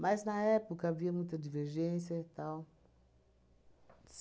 Mas, na época, havia muita divergência e tal.